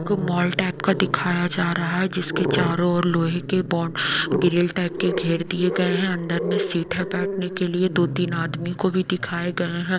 उनको mall type का दिखाया जा रहा है जिसके चारों ओर लोहे के बंद ग्रिल टाइप के घेर दिए गए हैं अंदर में सीट है बैठने के लिए दो तीन आदमी को भी दिखाए गए हैं।